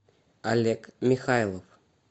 олег михайлов